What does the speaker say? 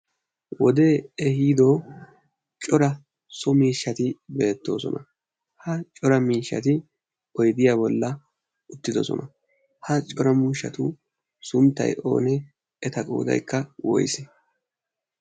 Wode ehido cora so miishshati beettoosona. Ha cora miishshati odiya bolli uttidoosona. Ha cora miishshatu sunttay oonee? Eta qooddaykka woysse?